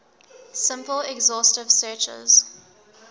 simple exhaustive searches